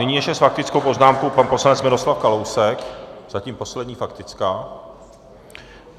Nyní ještě s faktickou poznámkou pan poslanec Miroslav Kalousek, zatím poslední faktická.